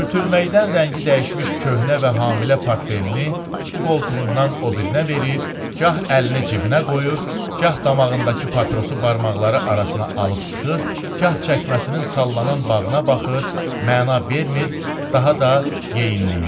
Sürtülməkdən rəngi dəyişmiş köhnə və hamilə portfelini bu qoltuğundan o birinə verir, gah əlini cibinə qoyur, gah damağındakı papirosu barmaqları arasına alıb sıxır, gah çəkməsinin sallanan bağına baxır, məna vermir, daha da yeyinləyir.